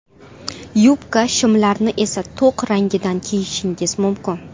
Yubka, shimlarni esa to‘q rangidan kiyishingiz mumkin.